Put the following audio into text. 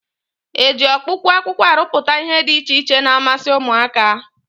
E ji ọkpụkpụ akwụkwọ arụpụta ihe dị iche iche na-amasị ụmụaka?